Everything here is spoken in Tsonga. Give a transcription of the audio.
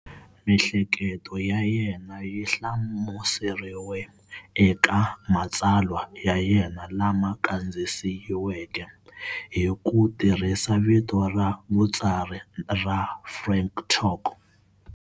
Mihleketo ya yena yihlamuseriwe eka matsalwa ya yena lama kandziyisiweke hi ku tirhisa vito ra vutsari ra Frank Talk.